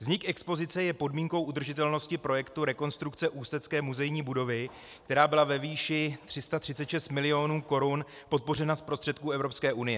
Vznik expozice je podmínkou udržitelnosti projektu rekonstrukce ústecké muzejní budovy, která byla ve výši 336 mil. korun podpořena z prostředků Evropské unie.